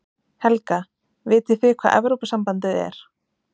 Helga: Vitið þið hvað Evrópusambandið er?